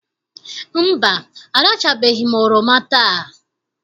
Mba, arachabeghị m oroma taa.